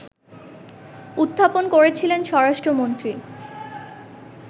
উত্থাপন করেছিলেন স্বরাষ্ট্রমন্ত্রী